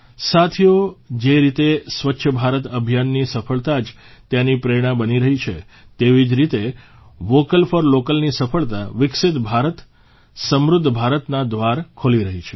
સાથીઓ જે રીતે સ્વચ્છ ભારત અભિયાનની સફળતા જ તેની પ્રેરણા બની રહી છે તેવી જ રીતે વોકલ ફોર લોકલની સફળતા વિકસિત ભારતસમૃદ્ધ ભારતના દ્વાર ખોલી રહી છે